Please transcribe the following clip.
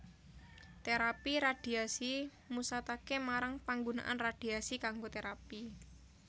Terapi radhiasi musataké marang panggunaan radhiasi kanggo terapi